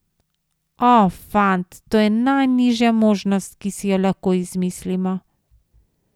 O, fant, to je najnižja možnost, ki si jo lahko izmislimo.